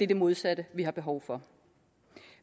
det modsatte vi har behov for